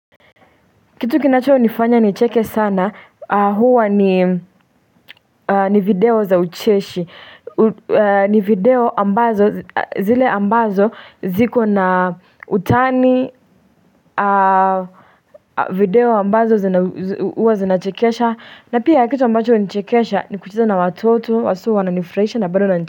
Kitu kinacho nifanya nicheke sana huwa ni video za ucheshi ni video ambazo zile ambazo ziko na utani video ambazo zina huwa zinachekesha na pia kitu ambacho hunichekesha ni kucheza na watoto haswa huwa wananifurahisha na bado na.